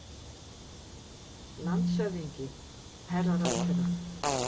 LANDSHÖFÐINGI: Herra ráðherra!